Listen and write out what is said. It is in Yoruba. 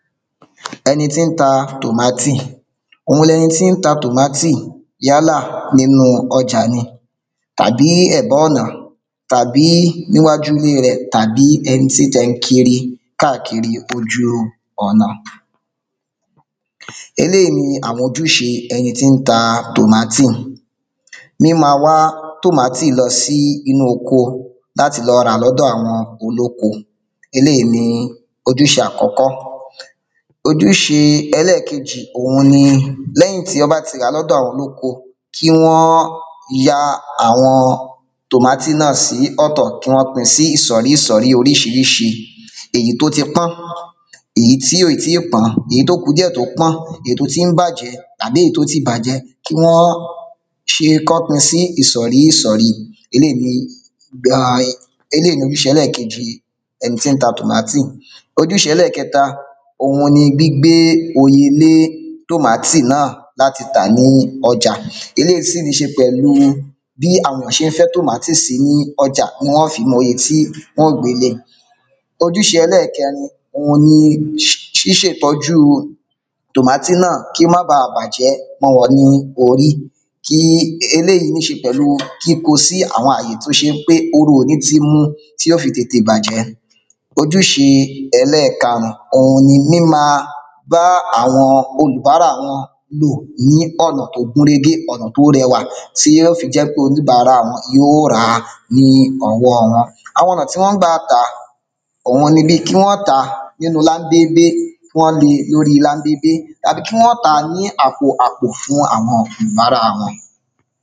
Ẹni tí ń ta tòmátì Òun tí ń ta tòmátì yálà nínu ọjà ni tàbí ẹ̀bá ọ̀nà tàbí níwájú ile rẹ̀ tàbí ẹni tí ti ẹ̀ ń kiri káàkiri ojú ọ̀nà eléyí ni àwọn ojúṣe ẹni tí ń ta tòmátì míma wá tòmátì lọ sí inú oko láti lọ rà lọ́dọ̀ àwọn olóko eléyí ni ojúṣe àkọ́kọ́ ojúṣe ẹlẹ́kejì òun ni lẹ́yìn tí ọ́ bá ti rà lọ́dọ̀ àwọn olóko kí wọ́n ya àwọn tòmátì náà sí ọ̀tọ̀ kí wọn pin sí ìsọ̀rí ìsọ̀ri oriṣiríṣi èyí tó ti pọ́n èyí tí ò yì tí pọ́n èyí tó ku díẹ̀ tó pọ́n èyí tó ti ń bàjẹ́ tàbí èyí tó ti bàjẹ́ kí wọ́n kọ́ pin sí ìsọ̀rí ìsọ̀ri eléyí ni ojúṣe ẹlẹ́kejì ẹni tí ń ta tòmátì ojúṣe ẹlẹ́kẹta òun ni gbígbé oye lé tòmátì náà láti tà ní ọjà eléyí ní ṣe pẹ̀lú bí àwọn èyàn ṣé fẹ́ tòmátì sí ní ọjá ni wọ́n ó fi mọ oye ti ojúṣe ẹlẹ́kẹrin òun ni ṣíṣetọ́jú tòmátì náà kí ó má bà bàjẹ́ mọ́ wọn ní orí eléyí ní ṣe pèlú kíko sí àwọn àyè tó ṣe pé oru ò ní ti mu tí ó fi tètè bàjẹ́ ojúṣe ẹlẹ́karùn òun ni míma bá àwọn olúbárà lò ní ọ̀nà tó gúnrégé ọ̀nà tó rẹwà tí yó fi jẹ pé oníbárà wọn yí ó ràá ní ọwọ́ wọn àwọn ọ̀nà tí wọ́n gba tàá òuni ni bí kí wọ́n tàá nínu láńbébé lóri láńbébé tàbí kí wọ́n tàá ní àpò àpò fún àwọn ǹbárà wọn